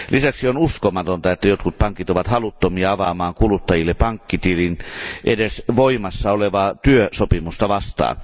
Lisäksi on uskomatonta, että jotkut pankit ovat haluttomia avaamaan kuluttajalle pankkitilin edes voimassaolevaa työsopimusta vastaan.